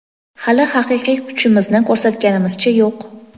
hali haqiqiy kuchimizni ko‘rsatganimizcha yo‘q.